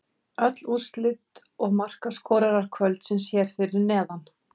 Öll úrslit og markaskorarar kvöldsins hér fyrir neðan: